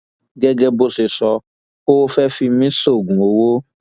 gẹgẹ bó ṣe sọ ọ fẹẹ fi mí sóògùn owó